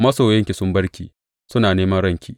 Masoyanki sun bar ki; suna neman ranki.